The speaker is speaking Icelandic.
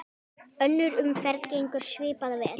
Önnur umferð gengur svipað vel.